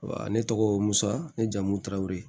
ne tɔgɔ ye musa ne jamu tarawele